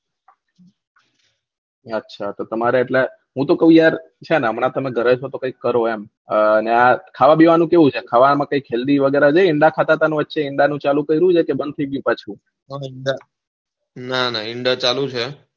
અચ્છા તો તમારે એટલે હું તો કાવ યાર અચ્છા ઘરે છો તો કઈ કરો એમ આ ત્યાં કંધાવાનું કઈ